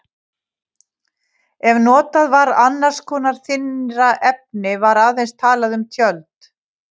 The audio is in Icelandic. Ef notað var annars konar þynnra efni var aðeins talað um tjöld.